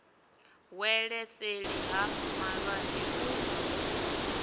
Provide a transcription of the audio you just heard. wele seli ha malwanzhe u